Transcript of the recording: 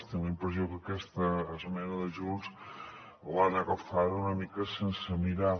tinc la impressió que aquesta esmena de junts l’han agafada una mica sense mirar